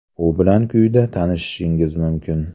U bilan quyida tanishishingiz mumkin.